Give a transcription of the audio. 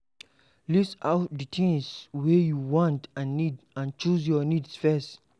List out di things wey you want and need and choose your needs first